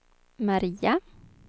Maria